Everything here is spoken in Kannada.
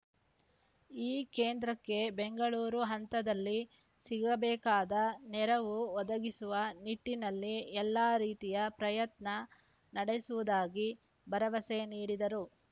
ಈ ಕೇಂದ್ರಕ್ಕೆ ಬೆಂಗಳೂರು ಹಂತದಲ್ಲಿ ಸಿಗಬೇಕಾದ ನೆರವು ಒದಗಿಸುವ ನಿಟ್ಟಿನಲ್ಲಿ ಎಲ್ಲ ರೀತಿಯ ಪ್ರಯತ್ನ ನಡೆಸುವುದಾಗಿ ಭರವಸೆ ನೀಡಿದರು